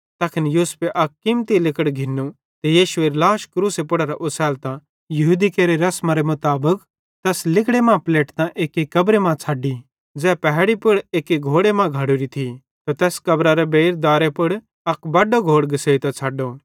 तैखन यूसुफे अक कीमती लिगड़ घिन्नू ते यीशुएरी लाश क्रूसे पुड़ेरां ओसैलतां यहूदी लोकां केरि रसमेरे मुताबिक तैस लिगड़े मां पलेटतां एक्की कब्री मां छ़ेड्डी ज़ै पहैड़ी पुड़ एक्की घोड़े मां घड़ोरी थी त तैस कब्रेरे बेइर दारे पुड़ अक बड्डो घोड़ घिसेइतां छ़ड्डो